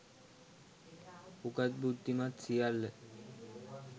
උගත් බුද්ධිමත් සියල්ල